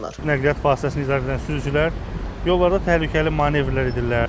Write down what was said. Nəqliyyat vasitəsini idarə edən sürücülər yollarda təhlükəli manevrlər edirlər.